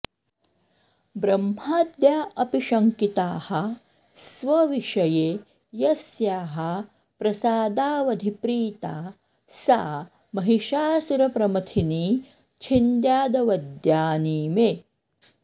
ब्रह्माद्या अपि शंकिताः स्वविषये यस्याः प्रसादावधि प्रीता सा महिषासुरप्रमथिनी च्छिन्द्यादवद्यानि मे